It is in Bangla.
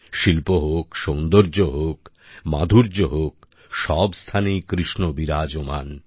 শিল্প হোক সৌন্দর্য হোক মাধুর্য হোক সব স্থানেই কৃষ্ণ বিরাজমান